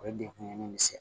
O ye degun ye